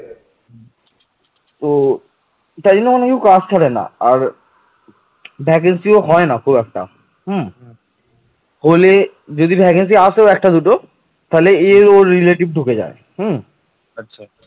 উগ্রনন্দের বা ধননন্দের সময় গ্রিক সম্রাট আলেকজাণ্ডার ভারতবর্ষ আক্রমণ করেন